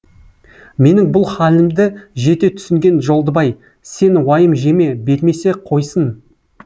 менің бұл хәлімді жете түсінген жолдыбай сен уайым жеме бермесе қойсын